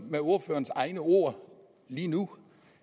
med ordførerens egne ord lige nu